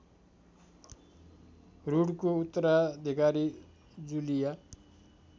रूडको उत्तराधिकारी जुलिया